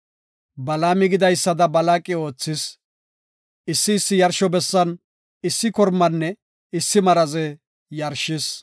Balaami gidaysada Balaaqi oothis; issi issi yarsho bessan issi kormanne issi maraze yarshis.